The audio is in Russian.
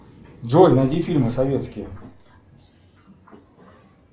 джой найди фильмы советские